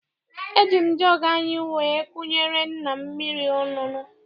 Eji m jọọgụ anyị wee kunyere nna m mmiri ọṅụṅụ.